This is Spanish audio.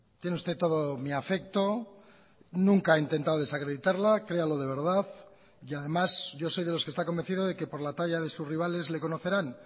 tiene usted todo mi afecto nunca he intentado desacreditarla créalo de verdad y además yo soy de los que está convencido de que por la talla de sus rivales le conocerán